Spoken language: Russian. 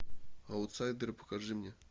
аутсайдеры покажи мне